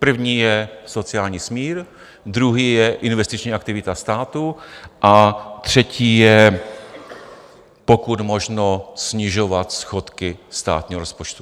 První je sociální smír, druhý je investiční aktivita státu a třetí je pokud možno snižovat schodky státního rozpočtu.